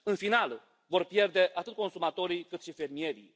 În final, vor pierde atât consumatorii, cât și fermierii.